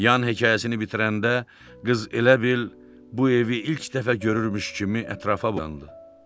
Yan hekayəsini bitirəndə qız elə bil bu evi ilk dəfə görürmüş kimi ətrafa boylandı.